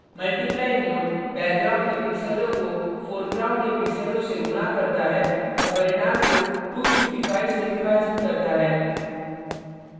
multiply mode background के pixels को foreground के pixels से गुणा करता है और परिणाम को 255 से विभाजित करता है